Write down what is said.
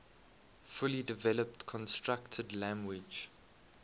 fully developed constructed language